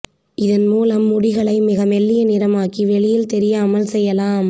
இதன் மூலம் முடிகளை மிக மெல்லிய நிறமாக்கி வெளியே தெரியாமல் செய்யலாம்